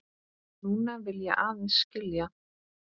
Núna vil ég aðeins skilja.